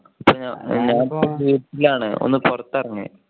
ഞാൻ ഇപ്പൊ വീട്ടിൽ ആണ് ഒന്ന് പുറത്ത് ഇറങ്ങാ.